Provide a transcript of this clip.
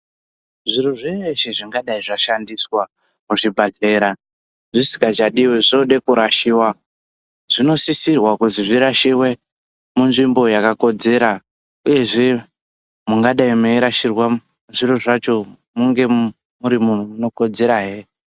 Zviro zveshe zvingadai zvashandiswa muzvibhedhlera zvisngachadiwe zvinode kurasiwa zvinosisirwa kuti zviraisiwe munzvimbo yakakodzera uyezve mungadai meyirasirwa zviro zvacho munge muri munokodzera zve.